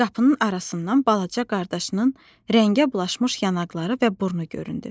Qapının arasından balaca qardaşının rəngə bulaşmış yanaqları və burnu göründü.